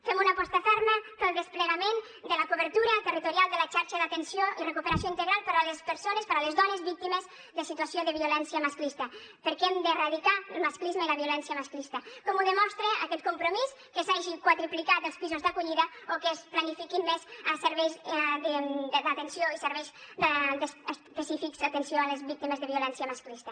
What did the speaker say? fem una aposta ferma pel desplegament de la cobertura territorial de la xarxa d’atenció i recuperació integral per a les persones per a les dones víctimes de situació de violència masclista perquè hem de erradicar el masclisme i la violència masclista com ho demostra aquest compromís que s’hagin quadriplicat els pisos d’acollida o que es planifiquin més els serveis específics d’atenció a les víctimes de violència masclista